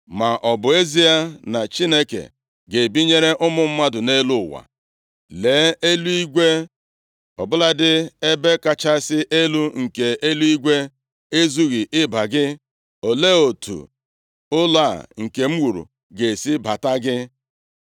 “Ma ọ bụ ezie na Chineke ga-ebinyere ụmụ mmadụ nʼelu ụwa? Lee, eluigwe, ọbụladị ebe kachasị elu nke eluigwe ezughị ịba gị. Olee otu ụlọ a nke m wuru ga-esi bata gị!